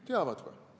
Teavad või?